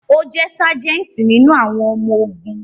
O je sajenti nínú àwọn ọmọ ogún